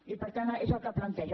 i per tant és el que planteja